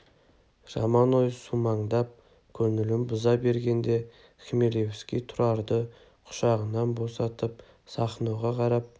жаман ой сумаңдап көңілін бұза бергенде хмелевский тұрарды құшағынан босатып сахноға қарап